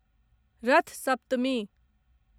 रथ सप्तमी